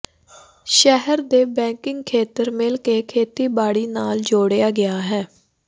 ਸ਼ਹਿਰ ਦੇ ਬੈਕਿੰਗ ਖੇਤਰ ਮਿਲ ਕੇ ਖੇਤੀਬਾੜੀ ਨਾਲ ਜੋੜਿਆ ਗਿਆ ਹੈ